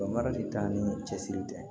Bamari t'a ni cɛsiri tɛ